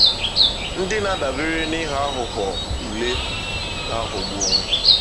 Ndị na-adabere n’ịghọ aghụghọ ule na-aghọgbu onwe ha.